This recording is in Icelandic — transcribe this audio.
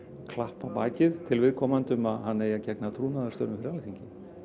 klapp á bakið til viðkomandi að hann eigi að gegna trúnaðarstörfum fyrir Alþingi